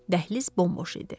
Dəhliz bomboş idi.